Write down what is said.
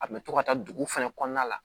A kun bɛ to ka taa duguw fɛnɛ kɔnɔna la